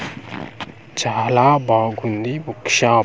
చాలా బాగుంది book shop .]